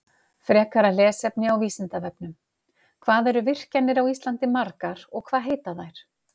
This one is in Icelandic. Frekara lesefni á Vísindavefnum: Hvað eru virkjanir á Íslandi margar og hvað heita þær?